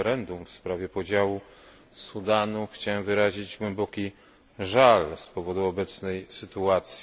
referendum w sprawie podziału Sudanu chciałbym wyrazić głęboki żal z powodu obecnej sytuacji.